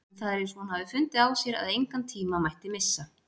En það er eins og hún hafi fundið á sér að engan tíma mætti missa.